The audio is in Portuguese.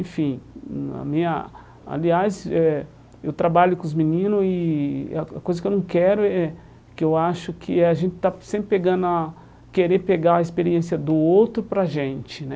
Enfim, hum a minha... aliás, eh eu trabalho com os meninos e a coisa que eu não quero é... que eu acho que a gente está sempre pegando a... querer pegar a experiência do outro para a gente, né?